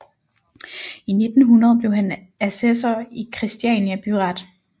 I 1900 blev han assessor i Kristiania Byret